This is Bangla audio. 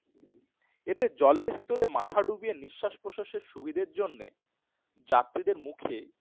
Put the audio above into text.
এদের জলের ভিতর মাথা ঢুকিয়ে নিঃশ্বাস প্রশ্বাসের সুবিধার জন্য যাত্রীদের মুখে একটি